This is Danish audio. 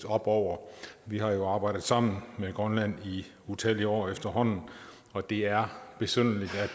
oppe over vi har jo arbejdet sammen med grønland i utallige år efterhånden og det er besynderligt